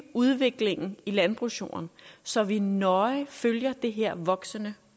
udviklingen i landbrugsjorden så vi nøje følger det her voksende